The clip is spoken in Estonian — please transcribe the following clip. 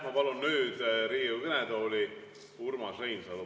Ma palun nüüd Riigikogu kõnetooli Urmas Reinsalu.